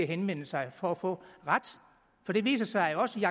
henvende sig for at få ret for det viser sig jo også i